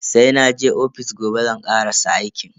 Sai naje ofis gobe zan karasa aikin.